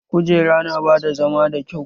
Kujera na bada zama da kyau